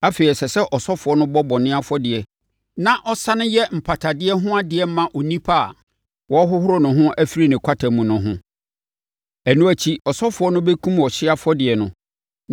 “Afei, ɛsɛ sɛ ɔsɔfoɔ no bɔ bɔne afɔdeɛ na ɔsane yɛ mpatadeɛ ho adeɛ ma onipa a wɔrehohoro ne ho afiri ne kwata mu no ho; ɛno akyi, ɔsɔfoɔ no bɛkum ɔhyeɛ afɔrebɔdeɛ no